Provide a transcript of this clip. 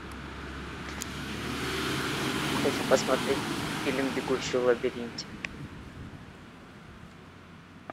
хочу посмотреть фильм бегущий в лабиринте